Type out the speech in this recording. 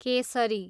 Kesari